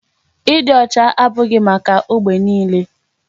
Ịdị ọcha abụghị maka ógbè niile.